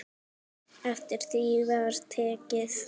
Eftir því var tekið.